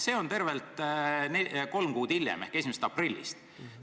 See on tervelt kolm kuud hiljem ehk alates 1. aprillist.